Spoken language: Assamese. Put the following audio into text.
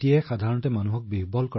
আৰু বৈদিক গণিততকৈ আৰু কি সৰল হব পাৰে